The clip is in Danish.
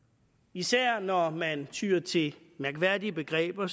især når man tyer til mærkværdige begreber